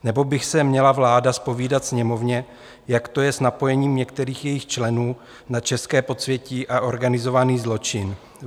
Nebo by se měla vláda zpovídat Sněmovně, jak to je s napojením některých jejích členů na české podsvětí a organizovaný zločin.